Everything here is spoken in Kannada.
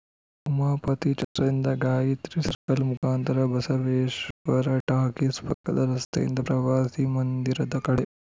ಉಮಾಪತಿ ಛತ್ರದಿಂದ ಗಾಯಿತ್ರಿ ಸರ್ಕಲ್‌ ಮುಖಾಂತರ ಬಸವೇಶ್ವರ ಟಾಕೀಸ್‌ ಪಕ್ಕದ ರಸ್ತೆಯಿಂದ ಪ್ರವಾಸಿ ಮಂದಿರದ ಕಡೆ